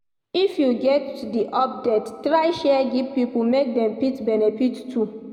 If you get the update try share give pipo make dem fit benefit too